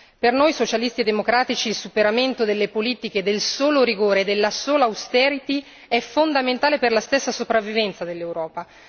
Per noi Socialisti e Democratici il superamento delle politiche del solo rigore e della sola austerity è fondamentale per la stessa sopravvivenza dell'Europa.